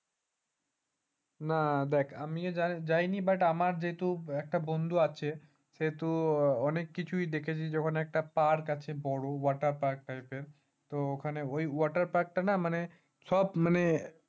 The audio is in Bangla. না দেখ আমিও যায়নি but আমার যেহেতু একটা বন্ধু আছে অনেক কিছুই দেখেছি যখন একটা park আছে বড় water park টাইপের তো ওই water park টা না মানে সব মানে